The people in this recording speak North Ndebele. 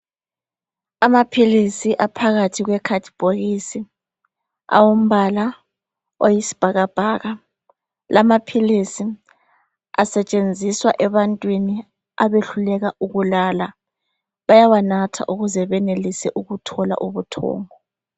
Amaphilisi aphakathi kwekhadibhokisi owombala oyisibhakabhaka. Lamaphilisi asetshenziswa ebantwini abehluleka ukulala bawanatha ukuze benelise ukuthola ubuthongo